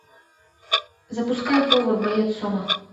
запускай повар боец сома